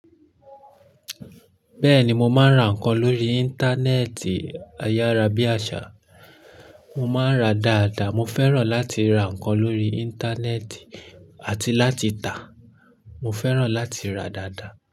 Bẹ́ẹ̀ni, mo máa ń ra nǹkan lórí Íńtánẹ́ẹ̀tì ayárábiàsà. Mo máa ń ra dáadáa, mo fẹ́ràn láti ra nǹkan lórí Íńtánẹ́ẹ̀tì àti láti tà. Mo fẹ́ràn láti ra dáadáa.